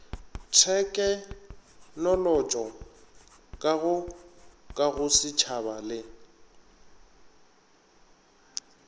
thekenolotšo ka go kagosetšhaba le